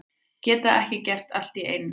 Geta ekki gert allt í einu